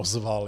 Ozval.